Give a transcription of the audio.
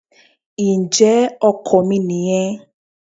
Ǹjẹ́ ọkọ̀ mi nìyẹn.